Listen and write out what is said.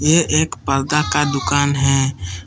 ये एक पर्दा का दुकान है।